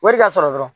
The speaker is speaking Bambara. Wari ka sɔrɔ dɔrɔn